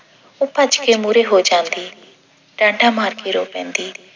ਉਹ ਭੱਜ ਕੇ ਮੂਹਰੇ ਹੋ ਜਾਂਦੀ ਠਾਠਾਂ ਮਾਰ ਕੇ ਰੋ ਪੈਂਦੀ